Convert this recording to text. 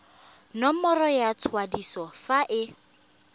nomoro ya kwadiso fa e